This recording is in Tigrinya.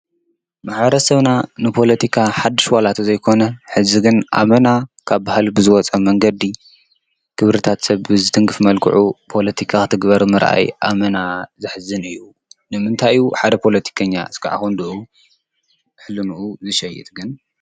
ማሕበረሰብና ንፖለቲካ ሓዱሽ ዋላ እንተዘይ ኮነ ሕዚ ግን ኣመና ካብ ባህሊ ብዝወፀ መንገዲ ክብርታት ሰብ ብዝትንክፍ መልክዑ ፖሊቲካ ክትግበር ምርኣይ ኣመና ዘሕዝን እዩ፡፡ ንምንታይ እዩ ሓደ ፖለቲካኛ ክሳብ ክንድኡ ሕሊንኡ ዝሸይጥ ግን?